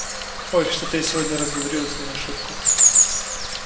ой что-то я сегодня разговорилась не на шутку